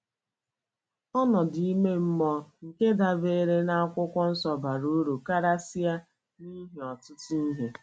Ọnọdụ ime mmụọ nke dabeere na akwụkwọ nsọ bara uru karịsịa n’ihi ọtụtụ ihe.